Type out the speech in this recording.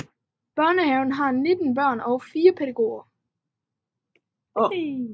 Børnehaven har 19 børn og 4 pædagoger